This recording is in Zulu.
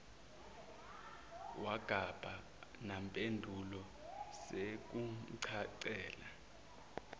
wangaba nampendulo sekumcacela